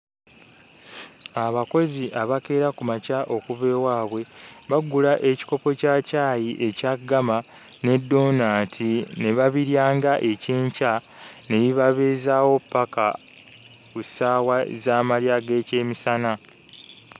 Abakozi abakeera ku makya okuva ewaabwe bagula ekikopo kya caayi ekya ggama ne doonaati ne babirya ng'ekyenkya ne bibabeezaawo ppaka ku ssaawa z'amalya g'ekyemisana.